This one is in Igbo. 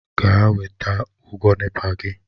Gaa weta ụgwọ NEPA gị!